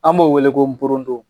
An b'o wele ko nporodon.